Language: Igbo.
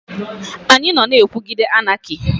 Anyị nọ na-ekwuguide Anaki.